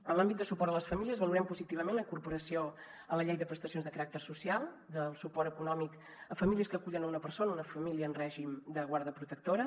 en l’àmbit de suport a les famílies valorem positivament la incorporació a la llei de prestacions de caràcter social de suport econòmic a famílies que acullen una persona una família en règim de guarda protectora